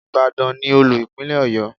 Ìbàdàn ni Olú Ìpínlẹ̀ Ọ̀yọ́.